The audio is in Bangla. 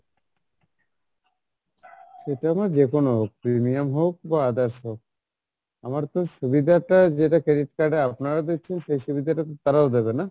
সেটা আমার যেকোনো হোক, premium হোক বা others হোক আমার তো সুবিধা টা যেটা credit card এ আপনারা দিচ্ছেন সেই সুবিধা টা তো তারাও দেবে না?